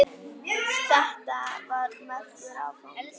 Þetta var merkur áfangi.